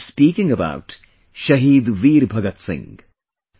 I am speaking about Shahid Veer Bhagat Singh